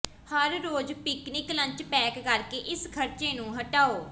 ਹਰ ਰੋਜ਼ picnic lunch pack ਕਰਕੇ ਇਸ ਖਰਚੇ ਨੂੰ ਹਟਾਓ